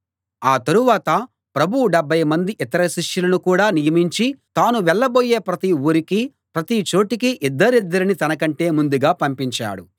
ఆ తరువాత ప్రభువు డెబ్భై మంది ఇతర శిష్యులను కూడా నియమించి తాను వెళ్ళబోయే ప్రతి ఊరికీ ప్రతి చోటికీ ఇద్దరిద్దరిని తనకంటే ముందుగా పంపించాడు